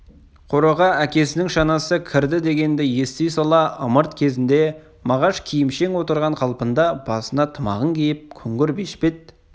қораға әкесінің шанасы кірді дегенді ести сала ымырт кезінде мағаш киімшең отырған қалпында басына тымағын киіп күңгір бешпет